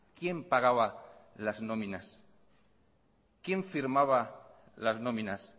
quién pagaba las nóminas quién firmaba las nóminas